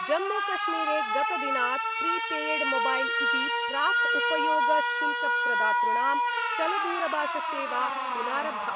जम्मूकश्मीरे गतदिनात् प्रीपेयड्मोबैल् इति प्राक् उपयोगशुल्कप्रदातॄणां चलदूरभाषसेवा पुनारब्धा।